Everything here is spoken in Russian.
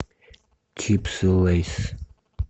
чипсы лейс